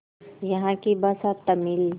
यहाँ की भाषा तमिल